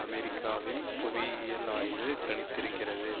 அமெரிக்காவின் புவியியல் ஆய்வு கணித்திருக்கிறது